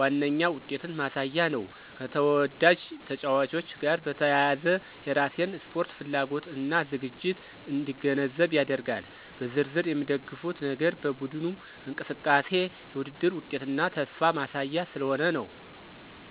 ዋነኛ ውጤትን ማሳያ ነው፣ ከተወዳጅ ተጫዋቾች ጋር በተያያዘ የራሴን ስፖርት ፍላጎት እና ዝግጅት እንዲገነዘብ ያደርጋል። በዝርዝር የሚደግፉት ነገር በቡድኑ እንቅስቃሴ፣ የውድድር ውጤትና ተስፋ ማሳያ ስለሆነ ነው።